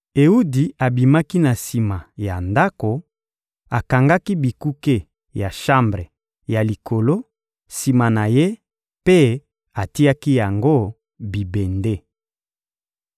Ewudi abimaki na sima ya ndako, akangaki bikuke ya shambre ya likolo sima na ye mpe atiaki yango bibende.